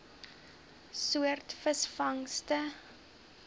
soort visvangste